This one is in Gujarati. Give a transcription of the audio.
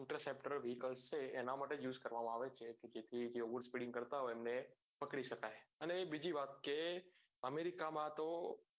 inter septor vehicles છે એના માટે જ use કરવા માં આવે છે કે જેથી overspeeding કરતા હોય એમને પકડી શકાય અને એક બીજી વાત કે અમેરિકા માં તો